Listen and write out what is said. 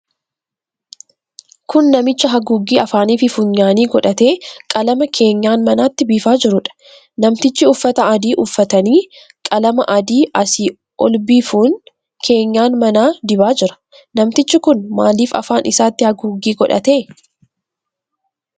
Kun namicha haguuggii afaaniifi funyaanii godhatee qalama keenyan manaatti biifaa jiruudha. Namtichi uffata adii uffatanii qalama adii asii ol biifuun keenyan manaa dibaa jira. Namtichi kun maaliif afaan isaatti haguuggii godhate?